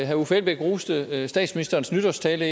herre uffe elbæk roste statsministerens nytårstale